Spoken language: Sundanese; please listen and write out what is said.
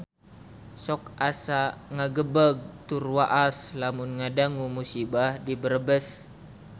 Sok asa ngagebeg tur waas lamun ngadangu musibah di Brebes